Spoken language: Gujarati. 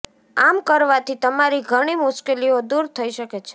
આમ કરવા થી તમારી ઘણી મુશ્કેલીઓ દૂર થઈ શકે છે